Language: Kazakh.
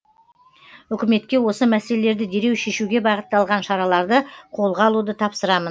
үкіметке осы мәселелерді дереу шешуге бағытталған шараларды қолға алуды тапсырамын